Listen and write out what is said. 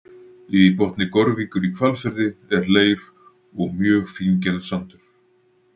Í botni Gorvíkur í Hvalfirði er leir og mjög fíngerður sandur.